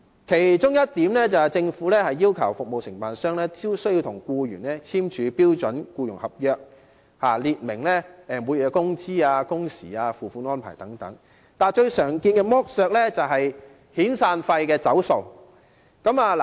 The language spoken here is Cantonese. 其中一點是，政府要求服務承辦商必須與僱員簽署標準僱傭合約，列明每月工資、工時及付款安排等，但最常見的剝削是遣散費"走數"。